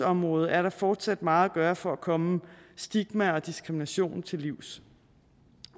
området er der fortsat meget at gøre for at komme stigma og diskrimination til livs